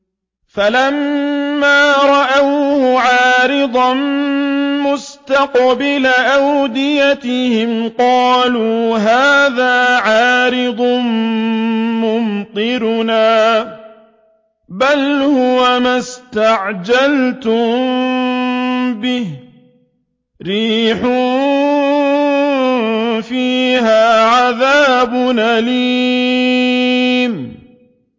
فَلَمَّا رَأَوْهُ عَارِضًا مُّسْتَقْبِلَ أَوْدِيَتِهِمْ قَالُوا هَٰذَا عَارِضٌ مُّمْطِرُنَا ۚ بَلْ هُوَ مَا اسْتَعْجَلْتُم بِهِ ۖ رِيحٌ فِيهَا عَذَابٌ أَلِيمٌ